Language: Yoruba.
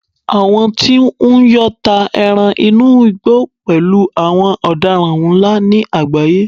àwọn tí n yọ́ ta eran inú igbó pẹlú àwọn odaran nla ni agbaye